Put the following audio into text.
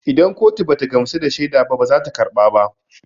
Idan kotu bata gamsu da shaida ba bazata karba ba